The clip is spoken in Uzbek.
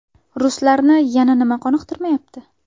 Ruslarni yana nima qoniqtirmayapti?